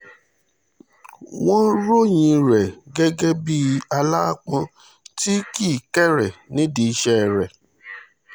wọ́n ròyìn rẹ̀ gẹ́gẹ́ bíi aláápọn tí kíkéré nídìí iṣẹ́ rẹ̀